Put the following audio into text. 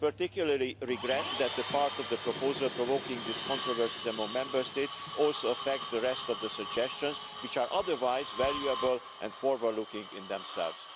I particularly regret that the part of the proposal provoking this controversy among Member States also affects the rest of the suggestions, which are otherwise valuable and forward-looking in themselves.